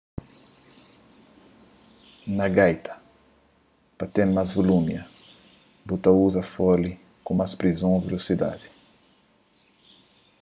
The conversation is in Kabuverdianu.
na gaita pa ten más vulumia bu ta uza fole ku más prison ô vilosidadi